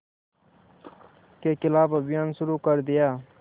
के ख़िलाफ़ अभियान शुरू कर दिया